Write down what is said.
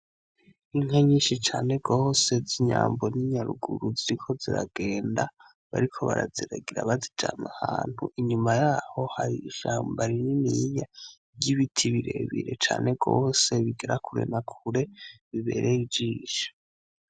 Inka nyinshi cane gose z'inyambo ni nyaruruguru ziriko ziragenda bariko baraziragira bazijana ahantu inyuma yaho hari ishamba rinininya ry'ibiti birebire cane gose bigera kure na kure bibereye ijisho.